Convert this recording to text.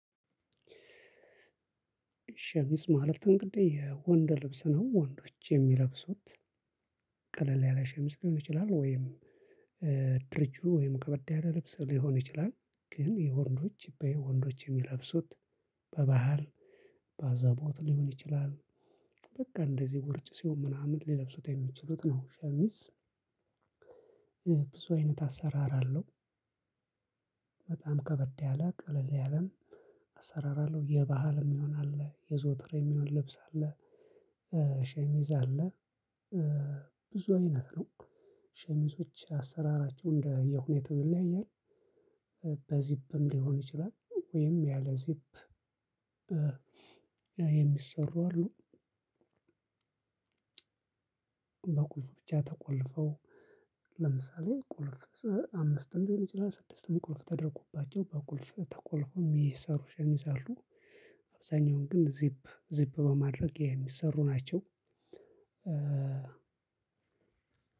ሸምስ ማለት እንግዲ የወንድ ልብስ ነው ወንዶች የሚለብሱት ቀለል ያለ ሸሚዝ ሊሆን ይችላል ወይም። ድርቱ ከበድ ያለ ልብስ ሊሆን ይችላል ግን የወንዶች በወንዶች የሚለበሱት በባህል በአዘቦት ሊሆን ይችላል በቃ እንደዚህ ውርጭ ሲሆን ምናምን ሊለብሱት የሚችሉት ነው ሸሚስ። ብዙ አይነት አሰራር አለሁ። በጣም ከበድ ያለ ቀለል ያለም አሰራር አለሁ የባህልም የሚሆን አለ የዘወትርም የሚሆን ልብስ አለ። ሸሚዝ አለ። ብዙ አይነት ነው ሸሚዞች አሰራራቸው እንደ የሁኔታው ይለያያል። በዚፕም ሊሆን ይችላል ወይም ያለ ዚፕ የሚሰሩ አሉ። በቁልፉ ብቻ ተቆልፈው ለምሳሌ ቁልፉ አምስትም ሊሆን ይችላል ስድስትም ቁልፍ ተደርጎባቸው በቁልፉ ተቆልፉ ሚሰሩ ሸሚዞች አሉ። አብዛኛውን ግን ዚፕ ዚፕ በማድረግ የሚሰሩ ናቸው።